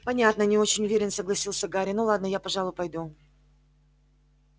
понятно не очень уверенно согласился гарри ну ладно я пожалуй пойду